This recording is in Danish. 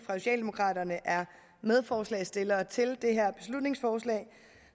socialdemokraterne er medforslagsstillere til det her beslutningsforslag